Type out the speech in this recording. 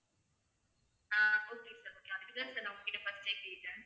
ஹம் okay sir okay அதுக்கு தான் sir நான் உங்கக்கிட்ட first ஏ கேட்டேன்.